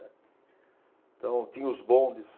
Né. Então, tinha os bondes,